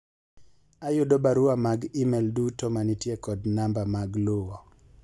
ayudo barua mag email duto manitie kod namba mag luwo